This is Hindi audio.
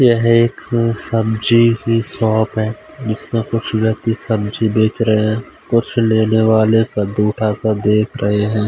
यह एक सब्जी की शॉप है जिसमें कुछ व्यक्ति सब्जी बेच रहे हैं कुछ लेने वाले कद्दू उठा कर देख रहे हैं।